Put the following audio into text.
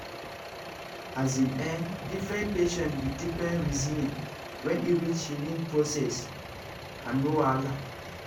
as in[um]different patients with different reasoning when e reach healing process and no wahala